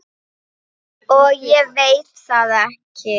Og ég veit það ekki.